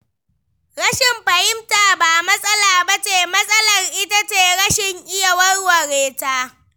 Rashin fahimta ba matsala ba ce, matsalar ita ce rashin iya warware ta.